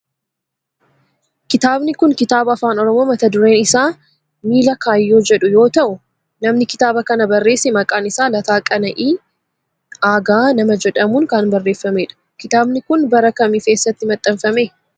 Kitaabni kun kitaaba afaan oromoo mata dureen isaa miila kaayyoo jedhu yoo ta'u namni kitaaba kana barreesse maqaan isaa Lataa Qana'ii Aagaa nama jedhamun kan barreeffamedha. Kitaabni kun bara kami fi eessatti maxxanfame?